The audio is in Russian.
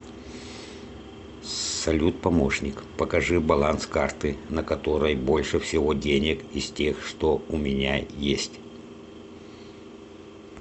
салют помощник покажи баланс карты на которой больше всего денег из тех что у меня есть